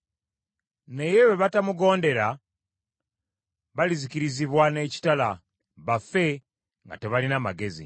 Naye bwe batamugondera, baalizikirizibwa n’ekitala, bafe nga tebalina magezi.